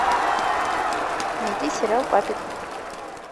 найти сериал папик